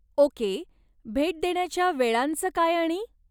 Okay, भेट देण्याच्या वेळांचं काय आणि?